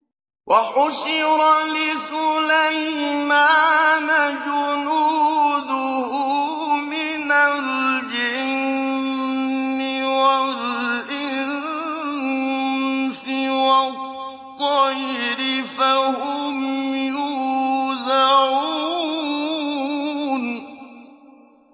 وَحُشِرَ لِسُلَيْمَانَ جُنُودُهُ مِنَ الْجِنِّ وَالْإِنسِ وَالطَّيْرِ فَهُمْ يُوزَعُونَ